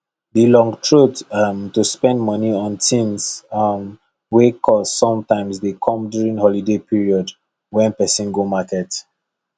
the long throat um to spend money on things um wey cost sometimes dey come during holiday period wen person go market